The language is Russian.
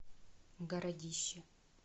городище